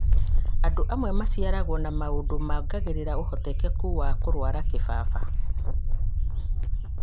andũ amwe maciaragwo na maũndũ mongagĩrĩra ũhotekeku wa kũrũara kĩbaba